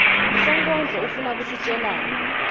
sonkondlo ufuna kusitjelani